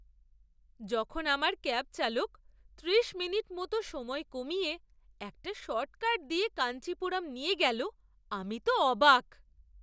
যখন আমার ক্যাব চালক ত্রিশমিনিট মতো সময় কমিয়ে একটা শর্টকাট দিয়ে কাঞ্চিপুরম নিয়ে গেল, আমি তো অবাক!